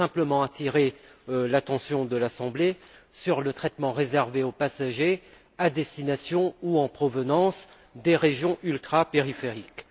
Je veux simplement attirer l'attention de l'assemblée sur le traitement réservé aux passagers à destination ou en provenance des régions ultrapériphériques.